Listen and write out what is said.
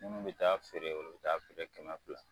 Minnu bɛ t'a feere, olu bɛ t'a feere kɛmɛ fila.